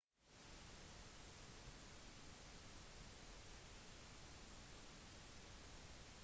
området huser også svært mange dyr og fuglearter